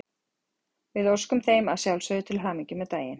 Við óskum þeim að sjálfsögðu til hamingju með daginn!